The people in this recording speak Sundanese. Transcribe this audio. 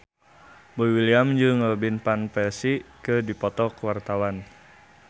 Boy William jeung Robin Van Persie keur dipoto ku wartawan